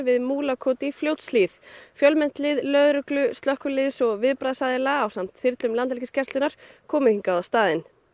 við Múlakot í Fljótshlíð fjölmennt lið lögreglu slökkviliðs og viðbragðsaðila ásamt þyrlum Landhelgisgæslunnar kom hingað á staðinn